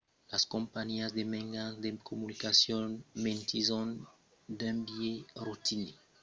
las companhiás de mejans de comunicacion mentisson d'un biais rotinièr a prepaus de la tòca d'aquò en afirmant qu'es per evitar lo piratatge